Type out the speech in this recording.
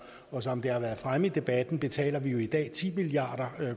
og som det har været fremme i debatten betaler vi jo i dag ti milliard